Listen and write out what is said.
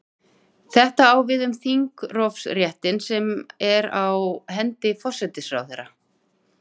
Þetta á við um þingrofsréttinn sem er á hendi forsætisráðherra.